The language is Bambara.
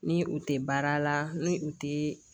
Ni u tɛ baara la ni u tɛ